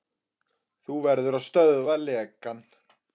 Þú verður að stöðva lekann.